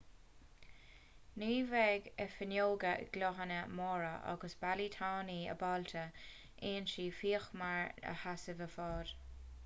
ní bheadh a fuinneoga gloinithe móra agus ballaí tanaí ábalta ionsaí fíochmhar a sheasamh i bhfad